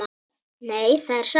Nei, það er satt.